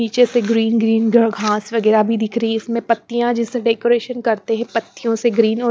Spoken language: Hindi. नीचे से ग्रीन ग्रीन घास वगैरह भी दिख रही है इसमें पत्तियां जैसे डेकोरेशन करते हैं पत्तियों से ग्रीन --